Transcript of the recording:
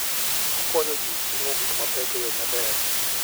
Okonyo ji ting'o gik mapek e yo maber.